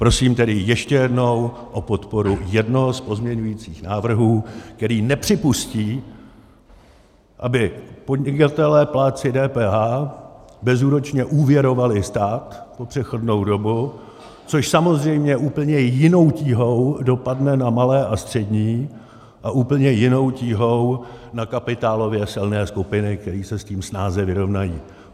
Prosím tedy ještě jednou o podporu jednoho z pozměňovacích návrhů, který nepřipustí, aby podnikatelé, plátci DPH, bezúročně úvěrovali stát po přechodnou dobu, což samozřejmě úplně jinou tíhou dopadne na malé a střední a úplně jinou tíhou na kapitálově silné skupiny, které se s tím snáze vyrovnají.